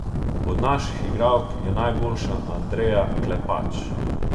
Od naših igralk je najboljša Andreja Klepač.